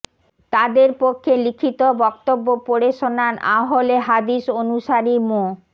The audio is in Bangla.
তদের পক্ষে লিখিত বক্তব্য পড়ে শোনান আহলে হাদিস অনুসারী মো